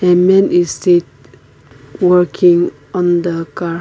a man is sit working on the car.